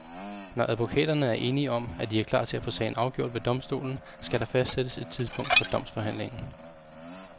Når advokaterne er enige om, at de er klar til at få sagen afgjort ved domstolen, skal der fastsættes et tidspunkt for domsforhandlingen.